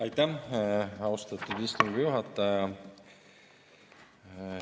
Aitäh, austatud istungi juhataja!